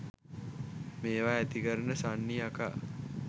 මේවා ඇතිකරන සන්නි යකා